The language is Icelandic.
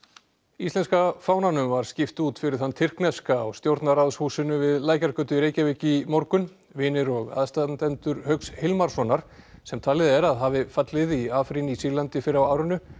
íslenska fánanum var skipt út fyrir þann tyrkneska á stjórnarráðshúsinu við Lækjargötu í Reykjavík í morgun vinir og aðstandendur Hauks Hilmarssonar sem talið er að hafi fallið í Afrín í Sýrlandi fyrr á árinu